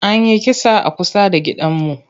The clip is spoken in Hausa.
An yi kisa a kusa da gidanmu.